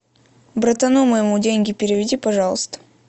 братану моему деньги переведи пожалуйста